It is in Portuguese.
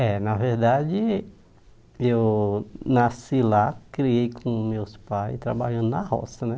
É, na verdade, eu nasci lá, criei com meus pais, trabalhando na roça, né?